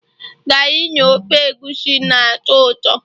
garri na ofe egusi na-atọ ụtọ